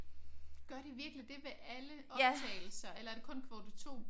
Gør de virkelig det ved alle optagelser eller er det kun kvote 2?